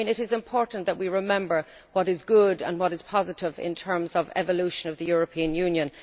It is important that we remember what is good and positive in terms of the evolution of the European Union.